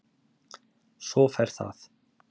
Svo ferð það.